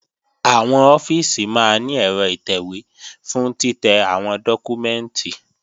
Àwọn ọ́fíìsì máa ní ẹ̀rọ ìtẹ̀wé fún títẹ́ àwọn dọ́kúmẹ́ǹtì